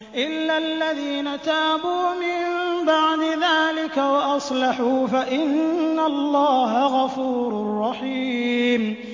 إِلَّا الَّذِينَ تَابُوا مِن بَعْدِ ذَٰلِكَ وَأَصْلَحُوا فَإِنَّ اللَّهَ غَفُورٌ رَّحِيمٌ